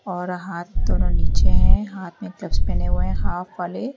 और हाथ थोड़ा नीचे है हाथ में ग्लब्स पहने हुए हैं हाफ वाले।